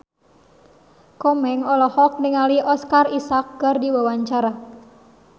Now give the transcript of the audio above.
Komeng olohok ningali Oscar Isaac keur diwawancara